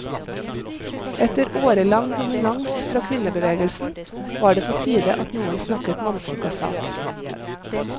Etter årelang dominans fra kvinnebevegelsen, var det på tide at noen snakket mannfolkas sak.